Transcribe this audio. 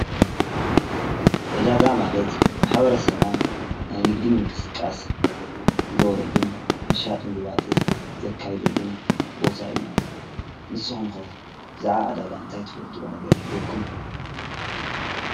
ዕዳጋ ማለት ማAበረ ሰብና ናይ ንግዲ ምን ቅስቃስ ዝገብረሉን ምሻጥ ምልዋጥ ዘካይዶሉን ቦታ እዩ፡፡ ንስኹም ከ ብዛዕ ዕዳጋ እንታይ ትፈልጥዎ ነገር ይሂልየኩም?